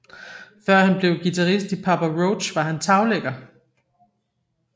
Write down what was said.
Før han blev guitarist i Papa Roach var han taglægger